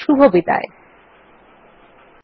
এই টিউটোরিয়াল এ অংশগ্রহন করার জন্য ধন্যবাদ